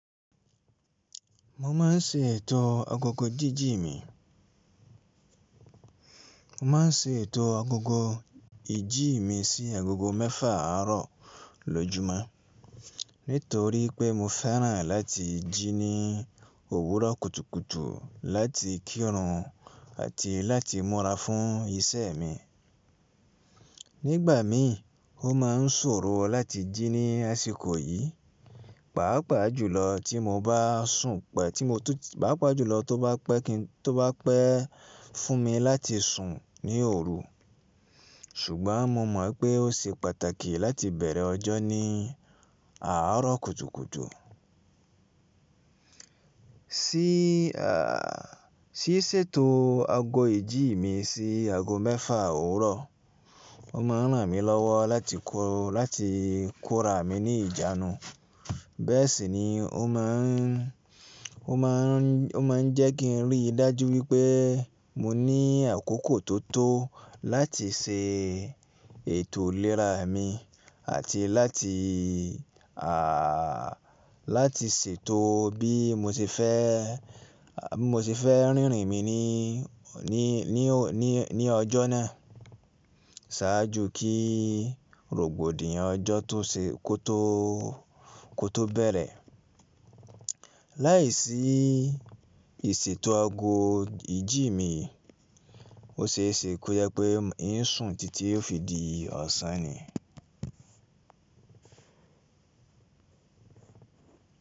Mo ma ń ṣe ètò agogo jiiji mi. Mo ma ń ṣe ètò agogo ìjí mi sí agogo mẹ́fà àrọ̀ lọ́júmọ́, nítorí pé mo fẹ́ràn láti jí ní òwúrọ̀ kùtùkùtù láti kírun àti láti múra fún iṣẹ́ mi. Nígbà mii, o má n ṣòro láti jí ní àsìkò yìí, pàápàá jùlọ tí mo bá sùn pẹ́, pàápàá jùlọ tó bá pẹ́ fún mi láti sùn ní òru. Ṣùgbọ́n mo mọ̀ pé ó ṣe pàtàkì láti bẹ̀rẹ̀ ọjọ́ ní àárọ̀ kùtùkùtù. Sí ṣètò ago ìjí mi sí ago mẹ́fà òwúrọ̀, o má n ràn mí lọ́wọ́ láti kó, láti kó ra mi ní ìjánu. Bẹ́ẹ̀ sì ni o má n, o má n jẹ́ kí n rí i dájú wípé mo ní àkókò tó tó láti ṣe ètò ìlera mi àti láti, à, láti ṣètò bí mo ṣe fẹ́, bi mo ṣe fẹ́ rìnrìn mi ní, ní ọjọ́ náà ṣáájú kíi rògbòdìyàn ọjọ́ tó ṣe kó tó kó tó bẹ̀rẹ̀. Láiṣí ìṣètò ago ìjí mi, ó ṣe é ṣe kó jẹ́ pé ì ń sùn títí ó fi di ọ̀sán ni.